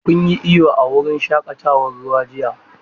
Kun yi iyo a wurin shaƙatawar ruwa jiya?